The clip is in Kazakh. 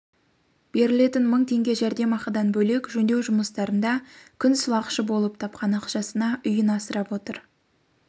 берілетін мың теңге жәрдемақыдан бөлек жөндеу жұмыстарында күн сылақшы болып тапқан ақшасына үйін асырап отыр